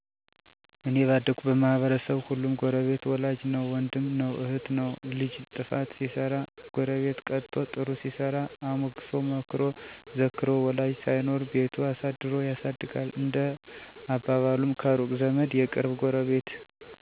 " እኔ ባደኩበት ማህበረሰብ ሁሉም ጎረቤት ወላጅ ነዉ ወንድም ነዉ እህት ነዉ ልጅ ጥፋት ሲሰራ ጎረቤት ቀጥቶ ጥሩ ሲሰራ አሞግሶ መክሮ ዘክሮ ወላጅ ሳይኖር ቤቱ አሳድሮ ያሳድጋል። እንደ አባባሉም ከሩቅ ዘመድ የቅርብ ጎረቤት !!